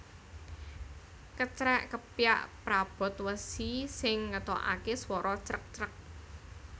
Kecrèk kepyak prabot wesi sing ngetokake swara crek crek